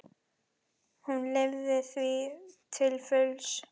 Hún lifði því til fulls.